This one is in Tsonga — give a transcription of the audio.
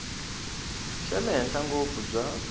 xa le henhla ngopfu bya